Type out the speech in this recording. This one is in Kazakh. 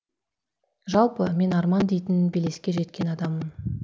жалпы мен арман дейтін белеске жеткен адаммын